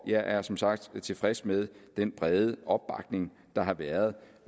jeg er som sagt tilfreds med den brede opbakning der har været